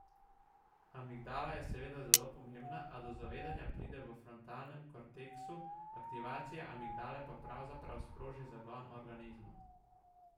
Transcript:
Amigdala je seveda zelo pomembna, a do zavedanja pride v frontalnem korteksu, aktivacija amigdale pa pravzaprav sproži zagon organizma.